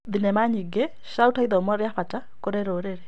Thenema nyingĩ ciraruta ithomo rĩa bata kũrĩ rũrĩrĩ.